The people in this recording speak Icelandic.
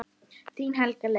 Þín Helga Lilja.